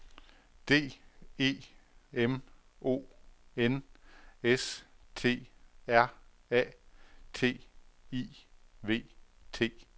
D E M O N S T R A T I V T